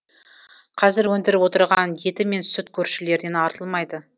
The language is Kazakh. қазір өндіріп отырған еті мен сүт көршілерден артылмайды